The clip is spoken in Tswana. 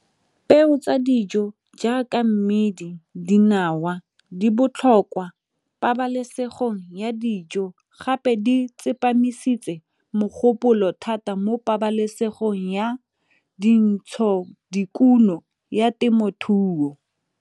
Peo tsa dijo jaaka mmidi, dinawa di botlhokwa pabalesegong ya dijo, gape di tsepamisitseng mogopolo thata mo pabalesegong ya dintsho dikuno ya temothuo.